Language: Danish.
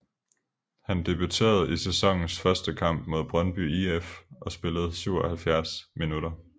Han debuterede i sæsonens første kamp mod Brøndby IF og spillede 77 minutter